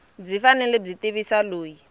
byi fanele byi tivisa loyi